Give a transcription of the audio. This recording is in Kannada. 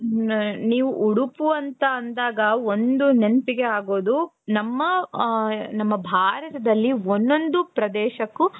ನೀವು ಉಡುಪು ಅಂತ ಅಂದಾಗ ಒಂದು ನೆನಪಿಗೆ ಆಗೋದು ನಮ್ಮ ನಮ್ಮ ಭಾರತದಲ್ಲಿ ಒಂದೊಂದು ಪ್ರದೇಶಕ್ಕೂ.